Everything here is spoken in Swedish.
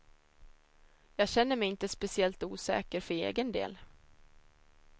Jag känner mig inte speciellt osäker för egen del.